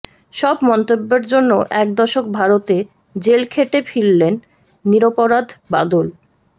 সব মন্তব্যের জন্য এক দশক ভারতে জেল খেটে ফিরলেন নিরপরাধ বাদল